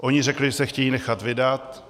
Oni řekli, že se chtějí nechat vydat.